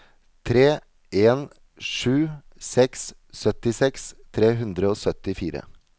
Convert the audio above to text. tre en sju seks syttiseks tre hundre og syttifire